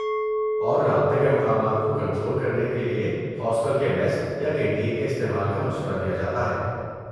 اور رابطے کے مقامات کو کنٹرول کرنے کے لیے ہاسٹل کے میس یا کینٹین کے استعمال کا مشورہ دیا جاتا ہے۔